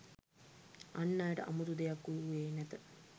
අන් අයට අමුතු දෙයක් වූයේ නැත